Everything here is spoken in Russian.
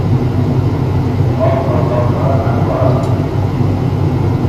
остров доктора агора